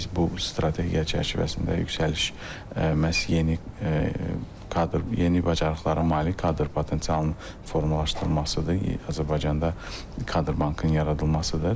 Yəni biz bu strategiya çərçivəsində yüksəliş məhz yeni kadr, yeni bacarıqlara malik kadr potensialının formalaşdırılmasıdır, Azərbaycanda kadr bankının yaradılmasıdır.